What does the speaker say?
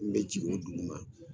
N be jigi o dugu ma